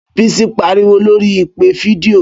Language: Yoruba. Bísí pariwo lóríi ìpè fídíò